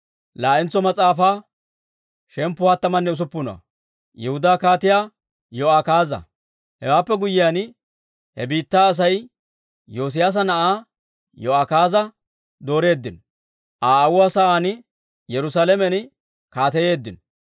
Hewaappe guyyiyaan, he biittaa Asay Yoosiyaasa na'aa Yo'akaaza dooreeddino; Aa aawuwaa sa'aan Yerusaalamen kaateyeeddino.